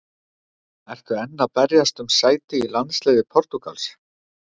Ertu enn að berjast um sæti í landsliði Portúgals?